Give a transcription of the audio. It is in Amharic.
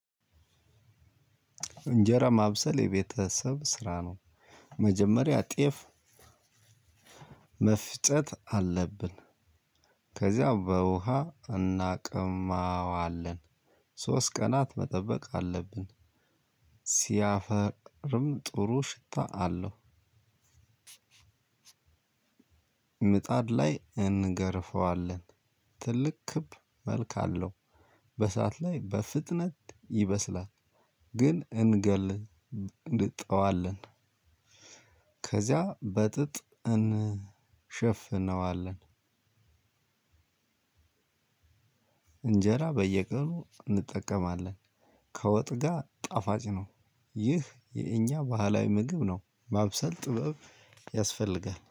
እንጀራ ማብሰል የቤተሰብ ስራ ነው መጀመሪያ ጤፍ መፍጨት አለብን። ከዚያም በውሃ እናቅማዋለን። ሶስት ቀናት መጠበቅ አለብን። ሲያፈቅርም ጥሩ ሽታ አለው። ምጣድ ላይ እንገርፈዋለን። ትልቅ ክብ መልክ አለው። በእሳት ላይ በፍጥነት ይበስላል። ግን እንገል ጥዋለን ከዚያ በጥጥ እንሸፍነዋለን። እንጀራ በየቀኑ እንጠቀማለን። ከወጥ ጋር ጣፋጭ ነው። ይህ የእኛ ባህላዊ ምግብ ነው። ማብሰል ጥበብ ያስፈልጋል